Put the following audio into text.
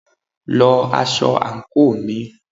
lọ aṣọ àńkò mi!